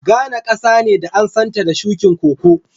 Ghane kasa ne da an san ta da shukin Koko.